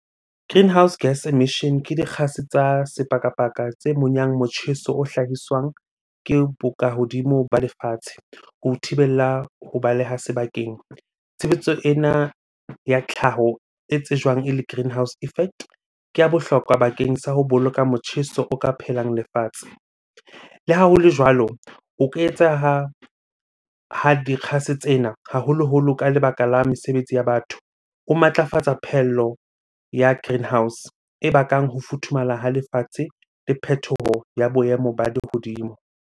Greenhouse gas emission ke dikgase tsa sepakapaka tse monyang motjheso o hlahiswang ke bokahodimo ba lefatshe ho thibella ho baleha sebakeng. Tshebetso ena ya tlhaho e tsejwang ele greenhouse effect, ke ya bohlokwa bakeng sa ho boloka motjheso o ka phelang lefatshe. Le ha hole jwalo, o ka etseha ha dikgase tsena haholoholo ka lebaka la mesebetsi ya batho. O matlafatsa phehello ya greenhouse e bakang ho futhumala ha lefatshe le phethoho ya boemo ba lehodimo.